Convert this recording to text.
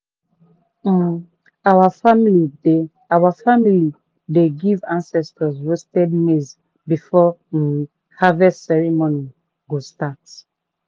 um our family dey family dey give ancestors roasted maize before um harvest ceremony go start.